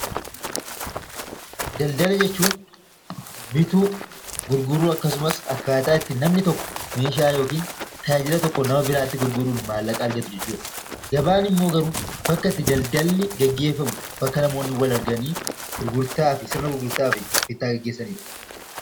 Daldala jechuun bituu, gurguruu akkasumas akkaataa itti namni tokko meeshaa yookaan tajaajila tokko nama biraatti gurguruun maallaqa argatu jechuudha. Gabaan immoo garuu bakka itti daldalli gaggeeffamu, bakka itti namoonni wal arganii bittaa fi gurgurtaa gaggeessanidha.